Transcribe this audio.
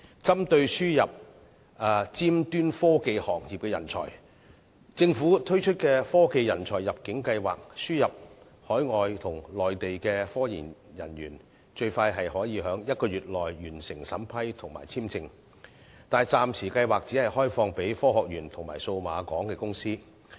針對輸入尖端科技行業人才，政府透過科技人才入境計劃，輸入海外及內地科研人才，最快可以在1個月內完成審批及簽證手續，但計劃暫時只開放予科學園及數碼港的公司。